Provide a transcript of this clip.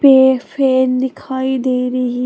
एक फैन दिखाई दे रही--